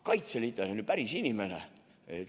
Kaitseliitlane on ju päris inimene.